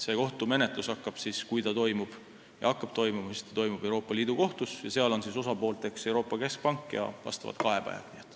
See kohtumenetlus, kui see algab, toimub Euroopa Liidu Kohtus ning seal on osapooled Euroopa Keskpank ja kaebajad.